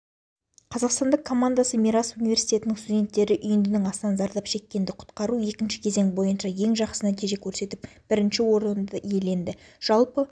қазақстандық командасы мирас университетінің студенттері үйіндінің астынан зардап шеккенді құтқару екінші кезең бойынша ең жақсы нәтиже көрсетіп бірінші орынды иеленді жалпы